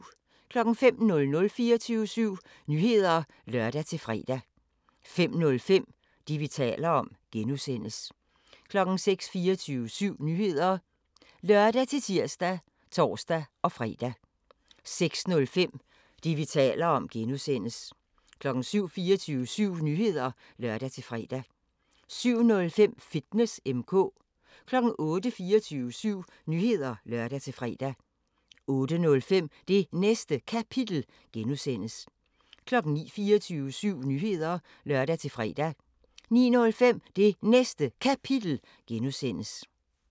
05:00: 24syv Nyheder (lør-fre) 05:05: Det, vi taler om (G) 06:00: 24syv Nyheder (lør-tir og tor-fre) 06:05: Det, vi taler om (G) 07:00: 24syv Nyheder (lør-fre) 07:05: Fitness M/K 08:00: 24syv Nyheder (lør-fre) 08:05: Det Næste Kapitel (G) 09:00: 24syv Nyheder (lør-fre) 09:05: Det Næste Kapitel (G)